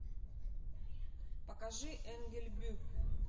покажи энгельбю